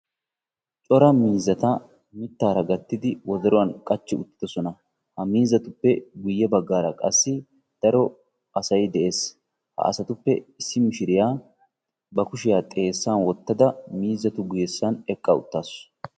Cora miizzata mittaara gattidi wodoruwan qachchi uttidosona. Ha miizzatuppe guyye baggaara qassi daro asay de'ees. Ha asatuppe issi mishiriya ba kushiya xeessan wottada miizzatu guyyesan eqqa uttaasu.